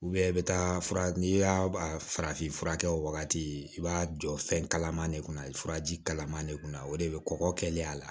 i bɛ taa fura n'i y'a farafin fura kɛ o wagati i b'a jɔ fɛn kalaman de kunna furaji kalaman de kunna o de bɛ kɔkɔ kɛlen a la